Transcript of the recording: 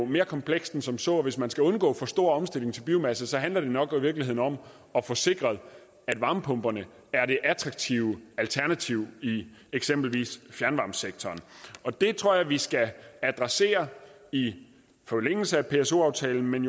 mere komplekst end som så og hvis man skal undgå en for stor omstilling til biomasse handler det nok i virkeligheden om at få sikret at varmepumperne er det attraktive alternativ i eksempelvis fjernvarmesektoren det tror jeg at vi skal adressere i forlængelse af pso aftalen men